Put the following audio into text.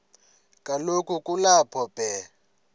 kaloku kulapho be